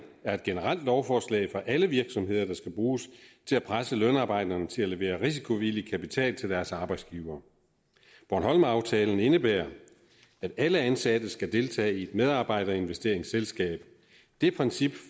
er et generelt lovforslag for alle virksomheder der skal bruges til at presse lønarbejderne til at levere risikovillig kapital til deres arbejdsgiver bornholmeraftalen indebærer at alle ansatte skal deltage i et medarbejderinvesteringsselskab det princip